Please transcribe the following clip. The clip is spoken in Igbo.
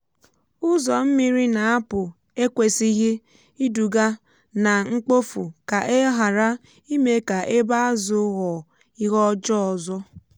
ụzọ mmiri na-apụ ekwesịghị iduga na mkpofu ka e ghara ime ka ebe azụ ghọọ ihe ọjọọ ọzọ.